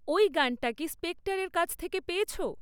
ওই গানটা কি স্পেক্টারের কাছ থেকে পেয়েছ?